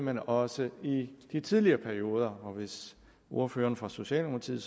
men også i de tidligere perioder hvis ordføreren for socialdemokratiet